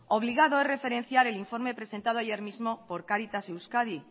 obligado es referencia el informe presentado ayer mismo por cáritas euskadi